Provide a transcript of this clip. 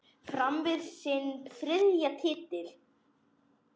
Fram vann sinn þriðja titil.